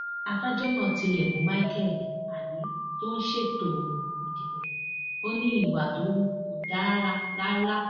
adájọ náà tilẹ bú michael ani tó ń ṣètò ìdìbò ò ní ìwà tó hù kò dára rárá